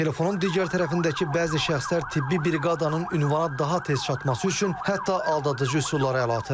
Telefonun digər tərəfindəki bəzi şəxslər tibbi briqadanın ünvana daha tez çatması üçün hətta aldadıcı üsullara əl atır.